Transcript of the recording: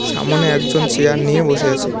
সামোনে একজন চেয়ার নিয়ে বসে আছে।